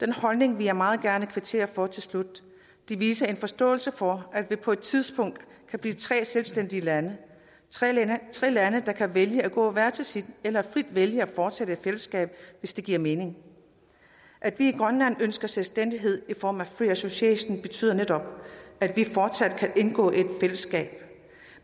den holdning vil jeg meget gerne kvittere for her til slut det viser en forståelse for at vi på et tidspunkt kan blive tre selvstændige lande tre lande tre lande der kan vælge at gå hver til sit eller frit vælge at fortsætte i fællesskab hvis det giver mening at vi i grønland ønsker selvstændighed i form af free association betyder netop at vi fortsat kan indgå i et fællesskab